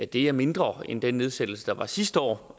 det er mindre end den nedsættelse der var sidste år